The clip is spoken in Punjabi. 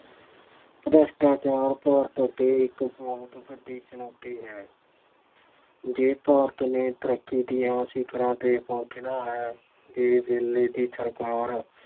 ਭ੍ਰਿਸ਼ਟਾਚਾਰ ਭਾਰਤ ਅੱਗੇ ਇੱਕ ਬਹੁਤ ਵੱਡੀ ਚੁਣੌਤੀ ਹੈ। ਜੇ ਭਾਰਤ ਨੇ ਤਰੱਕੀ ਦੀਆਂ ਸਿਖਰਾਂ ਤੇ ਪਹੁੰਚਣਾ ਹੈ ਤੇ ਵੇਲੇ ਦੀ ਸਰਕਾਰ